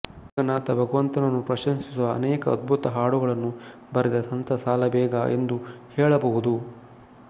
ಜಗನ್ನಾಥ ಭಗವಂತನನ್ನು ಪ್ರಶಂಸಿಸುವ ಅನೇಕ ಅದ್ಭುತ ಹಾಡುಗಳನ್ನು ಬರೆದ ಸಂತ ಸಾಲಬೇಗ ಎಂದು ಹೇಳಬಹುದು